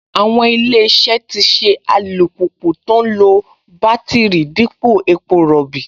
Àwọn Ilé-iṣẹ́ tì ṣe alùpùpù tó ń lo bátíìrì dípò epo rọ̀bì